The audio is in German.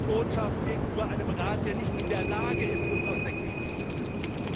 Das ist die Botschaft gegenüber einem Rat, der nicht in der Lage ist, uns aus der Krise zu führen.